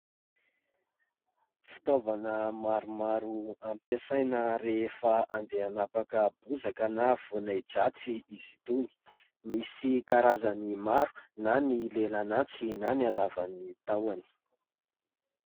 Fitaovana maromaro ampiasaina rehefa andeha hanapaka bozaka na voan'ahi-dratsy izy itony. Misy karazany maro na ny lelan'antsy na ny halavan'ny tahoany.